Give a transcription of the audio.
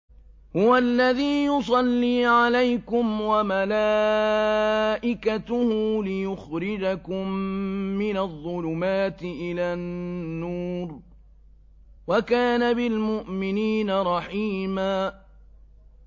هُوَ الَّذِي يُصَلِّي عَلَيْكُمْ وَمَلَائِكَتُهُ لِيُخْرِجَكُم مِّنَ الظُّلُمَاتِ إِلَى النُّورِ ۚ وَكَانَ بِالْمُؤْمِنِينَ رَحِيمًا